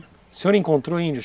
O senhor encontrou índio?